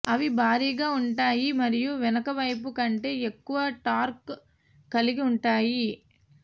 అవి భారీగా ఉంటాయి మరియు వెనుకవైపు కంటే ఎక్కువ టార్క్ కలిగి ఉంటాయి